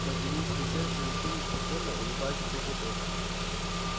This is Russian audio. материнское сердце-вещун испокон улыбаясь ответил тот